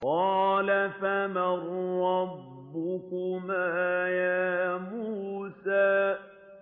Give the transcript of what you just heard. قَالَ فَمَن رَّبُّكُمَا يَا مُوسَىٰ